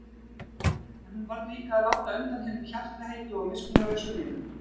En hún varð líka að láta undan hinum hjartaheitu og miskunnarlausu vinum.